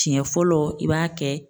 Siɲɛ fɔlɔ i b'a kɛ